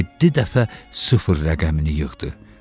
Yeddi dəfə sıfır rəqəmini yığdı.